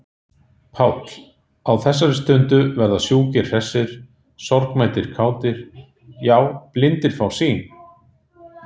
PÁLL: Á þessari stundu verða sjúkir hressir, sorgmæddir kátir,- já, blindir fá sýn!